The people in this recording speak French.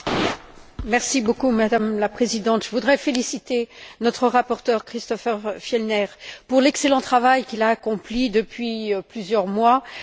Madame la Présidente, je voudrais féliciter notre rapporteur, Christofer Fjellner, pour l'excellent travail qu'il a accompli depuis plusieurs mois sur ces deux rapports.